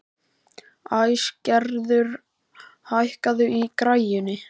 Æsgerður, hækkaðu í græjunum.